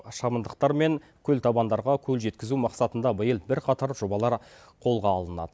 шабындықтар мен көлтабандарға көл жеткізу мақсатында биыл бірқатар жобалар қолға алынады